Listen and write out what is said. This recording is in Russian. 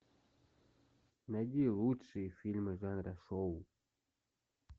найди лучшие фильмы жанра шоу